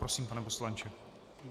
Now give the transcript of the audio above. Prosím, pane poslanče.